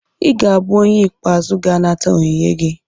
ị ga-abụ onye ikpeazụ ga-anata onyinye gị